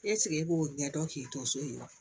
e k'o ɲɛ dɔn k'i to so in ye wa